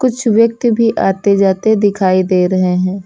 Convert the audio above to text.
कुछ व्यक्ति भी आते जाते दिखाई दे रहे हैं।